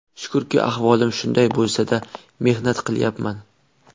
Shukurki, ahvolim shunday bo‘lsa-da, mehnat qilyapman.